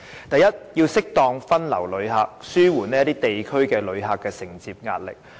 第一，要適當地將旅客分流，以紓緩某些地區承接旅客的壓力。